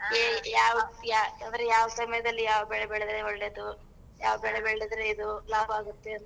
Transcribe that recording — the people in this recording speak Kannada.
ಎ ಯಾವ್ ಯಾ ಅಂದ್ರೆ ಯಾವ್ ಸಮ್ಯದಲ್ ಯಾವ್ ಬೆಳೆ ಬೆಳ್ದ್ರೆ ಒಳ್ಳೇದು. ಯಾವ್ ಬೆಳೆ ಬೆಳ್ದ್ರೆ ಇದು ಲಾಭ ಆಗತ್ತೆ ಅಂತ .